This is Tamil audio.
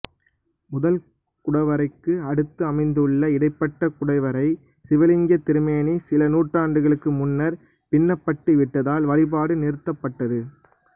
முதல் குடவரைக்கு அடுத்து அமைந்துள்ள இடைப்பட்ட குடைவரை சிவலிங்கத்திருமேனி சில நூற்றாண்டுகளுக்கு முன்னர் பின்னப்பட்டுவிட்டதால் வழிபாடு நிறுத்தப்பட்டது